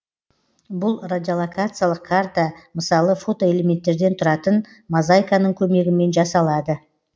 бұл радиолокациялық карта мысалы фотоэлементтерден тұратын мозайканың көмегімен жасалады